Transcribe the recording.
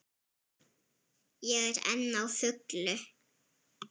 Ég er enn á fullu.